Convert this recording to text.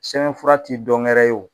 Sɛbɛnfura ti dɔngɛrɛ ye o